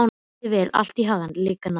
Gangi þér allt í haginn, Lyngar.